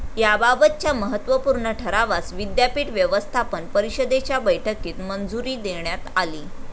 याबाबतच्या महत्त्वपूर्ण ठरावास विद्यापीठ व्यवस्थापन परिषदेच्या बैठकीत मंजुरी देण्यात आली.